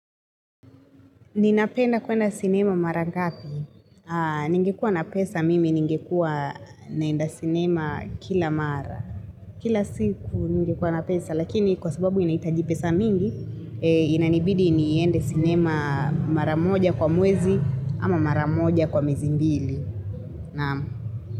Ninapenda kuenda sinema mara ngapi. Ningekuwa na pesa mimi, ningekuwa naenda sinema kila mara. Kila siku ningekuwa na pesa lakini kwa sababu inahitaji pesa mingi, inanibidi niende sinema mara moja kwa mwezi ama mara moja kwa miezi mbili.